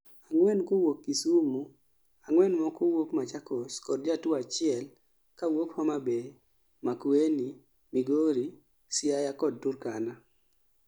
4 kawuok Kisumu, 4 moko wuok Machakos kod jatuo achiel achiel ka wuok Homa Bay, Makueni, Migori, Siaya kod Turkana